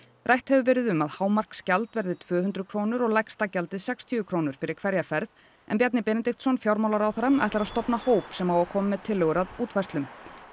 rætt hefur verið um að hámarksgjald verði tvö hundruð krónur og lægsta gjaldið sextíu krónur fyrir hverja ferð en Bjarni Benediktsson fjármálaráðherra ætlar að stofna hóp sem á að koma með tillögur að útfærslum